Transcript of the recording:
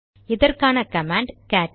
இதற்கான command gate